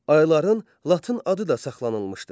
Ayların latın adı da saxlanılmışdır.